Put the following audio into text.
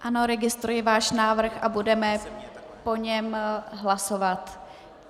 Ano, registruji váš návrh a budeme o něm hlasovat.